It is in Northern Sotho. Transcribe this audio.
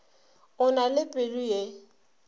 o na le pelo ye